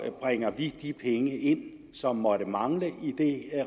bringer vi de penge ind som måtte mangle i det